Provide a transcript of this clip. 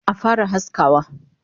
Action!